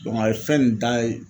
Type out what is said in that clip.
a ye fɛn nin da ye